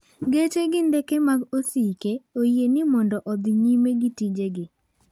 Geche gi ndeke mag osike oyieni mondo odhi nyime gi tijegi.